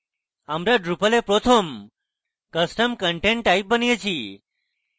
আমরা drupal we প্রথম custom content type বানিয়েছি